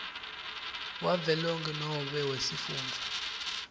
wavelonkhe nobe wesifundza